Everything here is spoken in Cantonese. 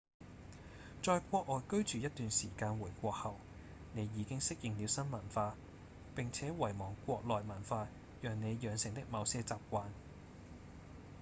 在國外居住一段時間回國後你已經適應了新文化並且遺忘國內文化讓你養成的某些習慣